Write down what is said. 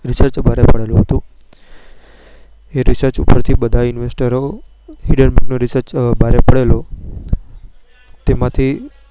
reach ભારે પડેલો હતો. એ Reach પરથી બધા InvestHindenburg Rearch ભારે પડેલો હતો તેમાં થી